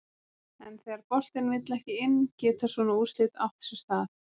En þegar boltinn vill ekki inn geta svona úrslit átt sér stað.